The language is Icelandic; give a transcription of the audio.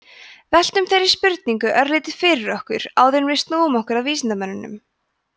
veltum þeirri spurningu örlítið fyrir okkur áður en við snúum okkur að vísindamönnunum